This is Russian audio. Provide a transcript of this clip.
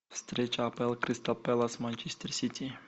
встреча апл кристал пэлас манчестер сити